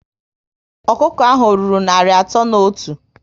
Ọkụkọ ahụ ọ rụrụ narị atọ na otu?